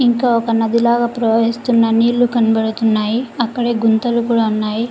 ఇంకా ఒక నది లాగ ప్రవహిస్తున్న నీళ్లు కనపదవుతున్నాయి అక్కడ గుంతలు కూడా ఉన్నాయి.